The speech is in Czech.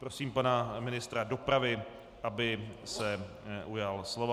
Prosím pana ministra dopravy, aby se ujal slova.